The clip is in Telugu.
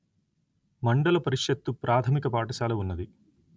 మండల పరిషత్తు ప్రాథమిక పాఠశాల ఉన్నది